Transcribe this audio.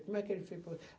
Como é que ele fez para